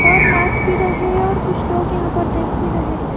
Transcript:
और नाच भी रहे हैं और कुछ लोग यहां पर देख भी रहे हैं।